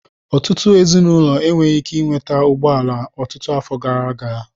Ọtụtụ ezinụlọ enweghị ike ị nweta ụgbọ ala ọtụtụ afọ gara aga.